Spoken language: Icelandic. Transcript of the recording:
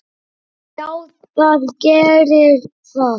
Já, það gerir það.